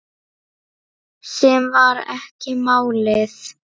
Sem var ekki málið.